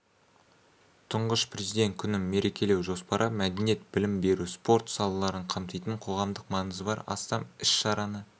тұңғыш президент күнін мерекелеу жоспары мәдениет білім беру спорт салаларын қамтитын қоғамдық маңызы бар астам іс-шараны